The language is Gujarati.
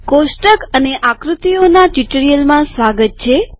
કોષ્ટક અને આકૃતિઓના ટ્યુટોરીઅલમાં સ્વાગત છે